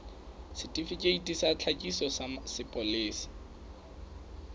setifikeiti sa tlhakiso sa sepolesa